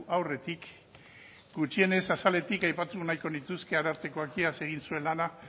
aurretik gutxienez azaletik aipatu nahiko nituzke arartekoak iaz egin zuen lana